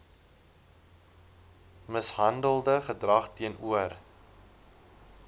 mishandelende gedrag teenoor